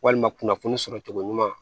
Walima kunnafoni sɔrɔ cogo ɲuman